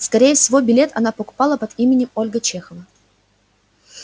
скорее всего билет она покупала под именем ольга чехова